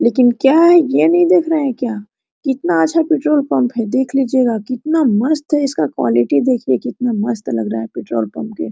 लेकिन क्या है यह नहीं देख रहा है क्या कितना अच्छा पेट्रोल पंप है देख लीजिएगा कितना मस्त है इसका क्वालिटी देखिए कितना मस्त लग रहा है पेट्रोल पंप के--